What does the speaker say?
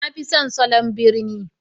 Na fi son salon birni